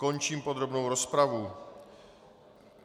Končím podrobnou rozpravu.